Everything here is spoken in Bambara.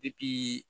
Depi